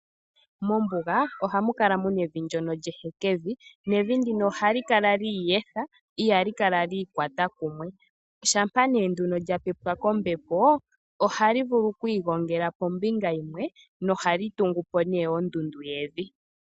Mombuga ohamu kala muna evi ndono lyehekevi, nevi ndino ohali kala la iyetha ihali kala lya ikwata kumwe. Shampa nee nduno lya pepwa kombepo, ohali vulu oku igongela pombinga yimwe nohali tungu po nee ondundu yevi.